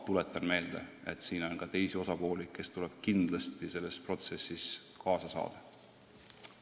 Tuletan vaid meelde, et siin on ka teisi osapooli, kes peavad kindlasti selles protsessis kaasa rääkima.